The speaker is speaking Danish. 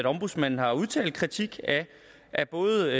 ombudsmanden har udtalt kritik af både